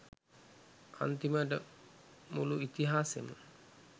අන්තිමට මුළු ඉතිහාසෙම